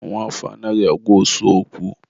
nwa afọ anaghị agwa osu okwu.